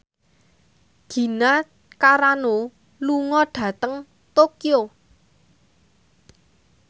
Gina Carano lunga dhateng Tokyo